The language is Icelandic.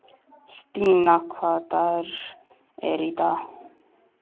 Stína, hvaða dagur er í dag?